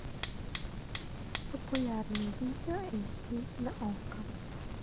популярные видео эйч ди на окко